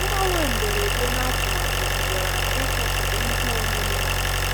Mgbanwe mberede n'atụmatụ dugara n'ịchọpụta ihe omume